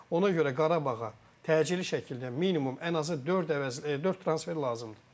Ona görə Qarabağa təcili şəkildə minimum ən azı dörd əvəzlə, dörd transfer lazımdır.